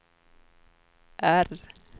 R